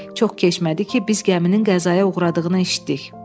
Çox keçmədi ki, biz gəminin qəzaya uğradığını eşitdik.